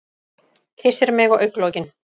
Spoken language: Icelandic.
Kyssir mig á augnalokin.